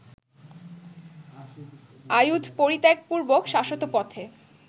আয়ুধ পরিত্যাগপূর্বক শাশ্বত পথে